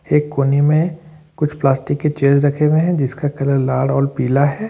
एक कोने में कुछ प्लास्टिक के चेयर्स रखे हुए हैं जिसका कलर लाल और पीला है।